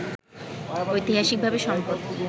ঐতিহাসিকভাবেই সম্পদ